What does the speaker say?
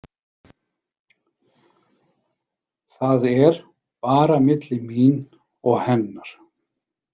Það er bara milli mín og hennar.